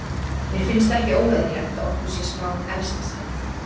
Mér finnst ekki óeðlilegt að okkur sé spáð efsta sæti.